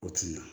O tun na